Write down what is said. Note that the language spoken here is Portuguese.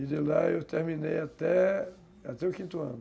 E de lá eu terminei até, até o quinto ano.